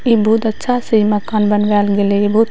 इ बहुत अच्छा से मकान बनवेएल गेले ये बहुत --